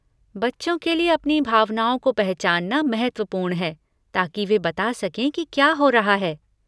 बच्चों के लिए अपनी भावनाओं को पहचानना महत्वपूर्ण है ताकि वे बता सकें कि क्या हो रहा है।